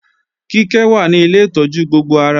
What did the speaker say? Kíkẹ́ wà ní Ilé ìtọ́jú gbogbo ara